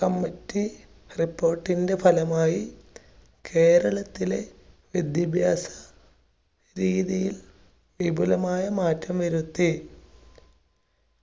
committee report ന്റെ ഫലമായി കേരളത്തിലെ വിദ്യാഭ്യാസ രീതിയിൽ വിപുലമായ മാറ്റം വരുത്തി.